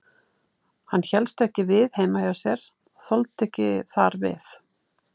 Hann hélst ekki við heima hjá sér, þoldi ekki þar við.